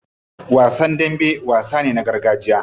Wasan dambe wasa ne na gargajiya.